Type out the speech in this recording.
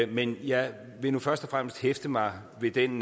men jeg vil nu først og fremmest hæfte mig ved den